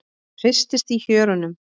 Hristist í hjörunum.